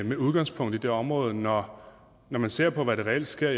med udgangspunkt i det område når man ser på hvad der reelt sker